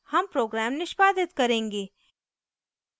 हम program निष्पादित करेंगे